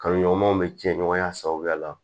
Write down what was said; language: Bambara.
Kalonɲɔgɔnmaw bɛ ci ɲɔgɔnya sababuya la